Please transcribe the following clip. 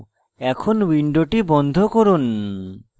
এখন window বন্ধ করুন